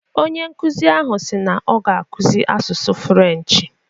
Onye nkuzi ahụ si na ọ ga-akụzi asụsụ French